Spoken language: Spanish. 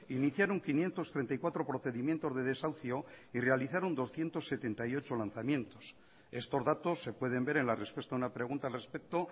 iniciaron quinientos treinta y cuatro procedimientos de desahucio y realizaron doscientos setenta y ocho lanzamientos estos datos se pueden ver en la respuesta a una pregunta al respecto